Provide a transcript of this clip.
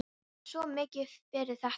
Hann er svo mikið fyrir þetta.